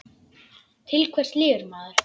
Til hvers lifir maður?